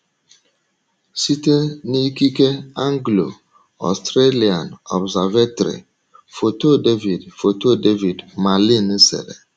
Site n’ikike Anglo - Australian Observatory, foto David, foto David Malin sere